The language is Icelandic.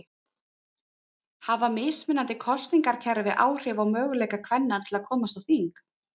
Hafa mismunandi kosningakerfi áhrif á möguleika kvenna til að komast á þing?